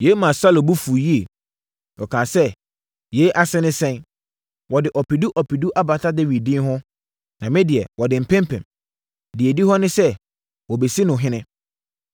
Yei maa Saulo bo fuu yie. Ɔkaa sɛ, “Yei ase ne sɛn? Wɔde ɔpedu ɔpedu abata Dawid din ho, na me deɛ, wɔde mpempem. Deɛ ɛdi hɔ ne sɛ, wɔbɛsi no ɔhene.”